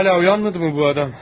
Hələ oyanmadı mı bu adam?